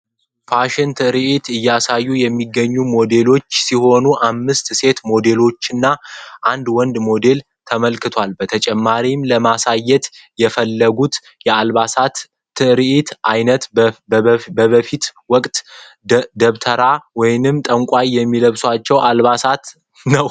ፋሽን ትርዒት እያሳዩ የሚገኙ ሞዴሎች ሲሆኑ አምስት ሴት ሞዴሎችና አንድ ወንድ ሞዴል ተመልክተዋል በተጨማሪም ለማሳየት የፈለጉት የአልባሳት ትርዒት ዓይነት በበፊት ወቅት ደብተራ ወይም ጠንቋይ የሚለብሳቸውን አልባሳቶች ነው።